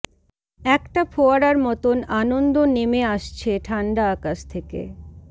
একটা ফোয়ারার মতন আনন্দ নেমে আসছে ঠান্ডা আকাশ থেকে